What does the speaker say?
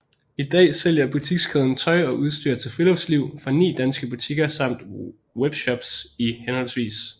I dag sælger butikskæden tøj og udstyr til friluftsliv fra ni danske butikker samt webshops i hhv